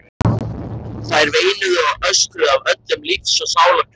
Þær veinuðu og öskruðu af öllum lífs og sálar kröftum.